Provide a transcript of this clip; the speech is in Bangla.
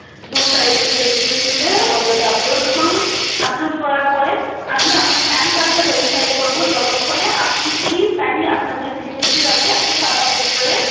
দুই side এর ই picture তুলে ওটাকে upload করুন upload করার পরে আমি আপনার PAN card টা verify করবো ততক্ষণে আপনি please আপনার যে Signature আছে একটা সাদা পেপারে